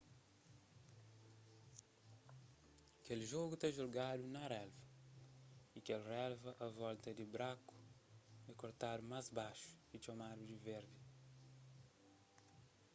kel jogu ta jugadu na relva y kel relva a volta di braku é kortadu más baxu y txomadu di verdi